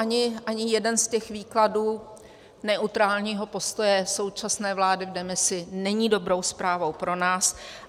Ani jeden z těch výkladů neutrálního postoje současné vlády v demisi není dobrou zprávou pro nás.